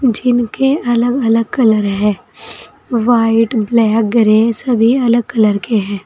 जिनके अलग अलग कलर हैं व्हाइट ब्लैक ग्रे सभी अलग कलर के हैं।